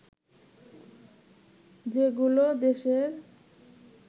যেগুলো দেশের